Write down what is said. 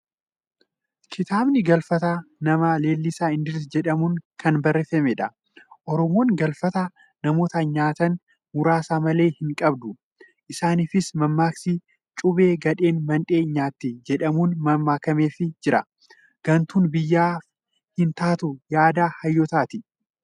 Kitaabni Galfataa nama Lalisaa Indiriis jedhamuun kan barreeffamedha. Oromoon galfata namoota nyaatan muraasa malee hin qabdu. Isaaniifis mammaaksi "cuubee gadheen mandhee nyaatti" jedhamuun mammaakameefii jira. Gantuun biyyaaf hin taatuun yaada Hayyootaati!